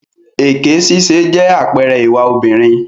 Èké ṣíṣe jẹ́ àpẹẹrẹ ìwà obìnrin.